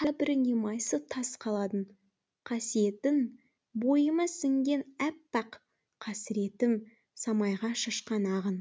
қабіріңе майысып тас қаладым қасиетің бойыма сіңген әппақ қасіретім самайға шашқан ағын